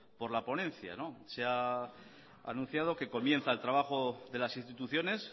por la ponencia se ha anunciado que comienza el trabajo de las instituciones